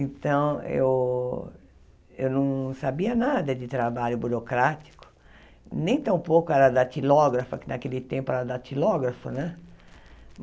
Então, eu eu não sabia nada de trabalho burocrático, nem tampouco era datilógrafa, porque naquele tempo era datilógrafa, né?